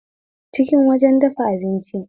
Kicin wajen dafa abinci